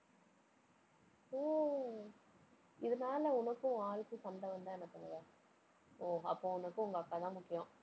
ஓ இதனால உனக்கும், உன் ஆளுக்கும் சண்டை வந்தா என்ன பண்ணுவ? ஓ, அப்போ உனக்கு, உங்க அக்காதான் முக்கியம்.